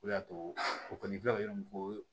O de y'a to o kɔni filɛ nin fɔ